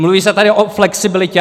Mluví se tady o flexibilitě.